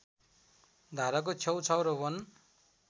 धाराको छेउछाउ र वन